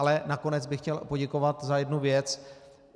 Ale nakonec bych chtěl poděkovat za jednu věc.